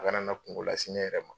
A kana na kungo lase n yɛrɛ ma.